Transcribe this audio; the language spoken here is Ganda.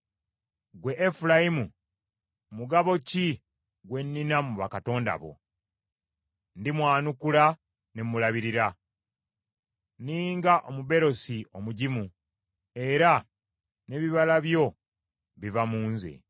Ggwe Efulayimu mugabo ki gwe nnina mu bakatonda bo? Ndimwanukula ne mulabirira. Nninga omuberosi omugimu, era n’ebibala byo biva mu nze.